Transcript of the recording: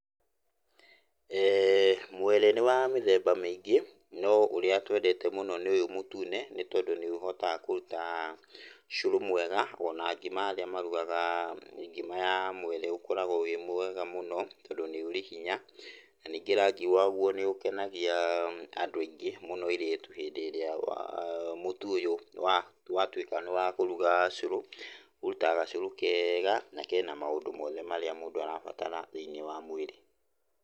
Ee mwere nĩ wa mĩthemba mĩingĩ, no ũrĩa twendete mũno nĩ ũyũ mũtune nĩtondũ nĩ ũhotaga kũruta cũrũ mwega ona ngima arĩa marugaga ngima ya mwere ũkoragwo wĩ mwega mũno tondũ nĩ ũrĩ hinya, na ningĩ rangi wagwo nĩ ũkenagia andũ aingĩ mũno airĩtu hĩndĩ ĩrĩa wa, mũtu ũyũ wa , watuĩka nĩ wa kũruga cũrũ, ũrutaga gacũrũ kega na kena maũndũ mothe marĩa mũndũ arabatara thĩiniĩ wa mwĩrĩ.